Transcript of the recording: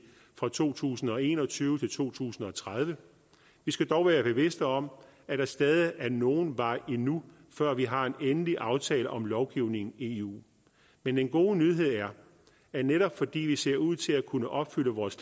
fra to tusind og en og tyve til to tusind og tredive vi skal dog være bevidste om at der stadig er nogen vej endnu før vi har en endelig aftale om lovgivningen i eu men den gode nyhed er at netop fordi vi ser ud til at kunne opfylde vores